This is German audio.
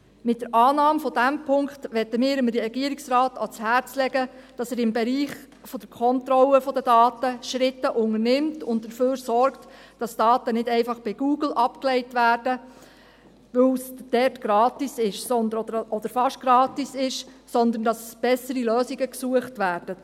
Mit der Annahme dieses Punkts wollen wir dem Regierungsrat ans Herz legen, dass er im Bereich der Kontrolle der Daten Schritte unternimmt und dafür sorgt, dass Daten nicht einfach bei Google abgelegt werden, weil es dort gratis oder fast gratis ist, sondern dass bessere Lösungen gesucht werden.